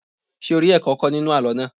Ṣé o rí ẹ̀kọ́ kọ́ nínú àlọ́ náà?